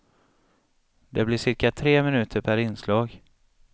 Det blir cirka tre minuter per inslag.